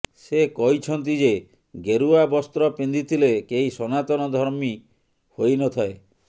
ସେ କହିଛନ୍ତି ଯେ ଗେରୁଆ ବସ୍ତ୍ର ପିନ୍ଧିଦେଲେ କେହି ସନାତନ ଧର୍ମୀ ହୋଇନଥାଏ